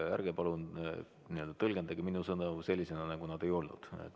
Ärge palun tõlgendage mu sõnu sellisena, nagu nad ei olnud.